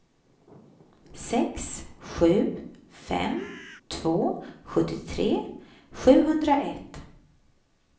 sex sju fem två sjuttiotre sjuhundraett